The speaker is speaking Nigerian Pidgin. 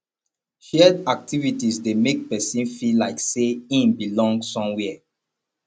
shared activities de make persin feel like say in belong somewhere